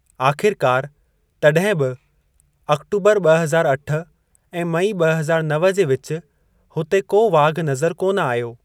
आख़िरकार, तड॒हिं बि, अक्टूबर ब॒ हज़ार अठ ऐं मई ब॒ हज़ार नव जे विच हुते को वाघ नज़र कोन आयो।